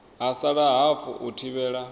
ha sala hafu u thivhela